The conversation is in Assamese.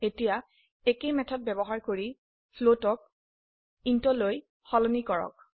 এতিয়া একেই মেথড ব্যবহাৰ কৰি ফ্লোট ক ইণ্ট লৈ সলনি কৰক